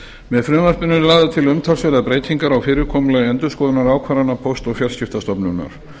með frumvarpinu eru lagðar til umtalsverðar breytingar á fyrirkomulagi endurskoðunar ákvarðana póst og fjarskiptastofnunar